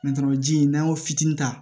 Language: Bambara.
ji in n'an y'o fitini ta